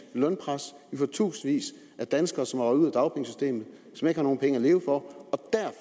lønpres vi får tusindvis af danskere som er røget ud af dagpengesystemet og som ikke har nogen penge at leve for